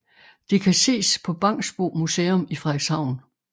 Det kan ses på Bangsbo Museum i Frederikshavn